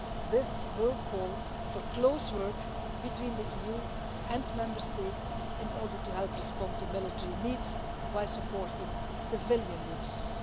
This will call for close work between the EU and Member States in order to help respond to military needs by supporting civilian users.